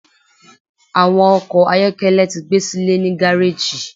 Awọn ọkọ ayọkẹlẹ ti gbesile ni gareji